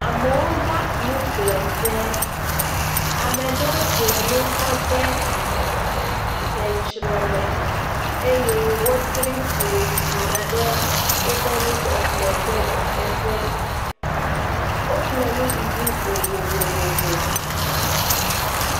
Amewo va nuƒle ƒe. Ame ɖewo ƒle nu kɔ de seŋtsre me eye wotri fli yina ɖe woƒe nuƒleƒle ƒe ga xe ƒe. Woƒle nuɖuɖu vovovovo.